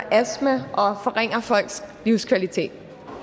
astma og forringer folks livskvalitet